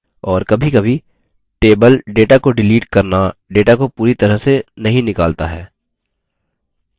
और कभीकभी table data को डिलीट करना data को पूरी तरह से नहीं निकालता है